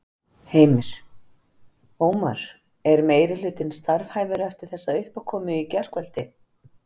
Heimir: Ómar, er meirihlutinn starfhæfur eftir þessa uppákomu í gærkvöldi?